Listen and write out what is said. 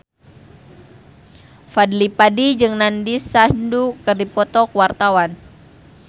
Fadly Padi jeung Nandish Sandhu keur dipoto ku wartawan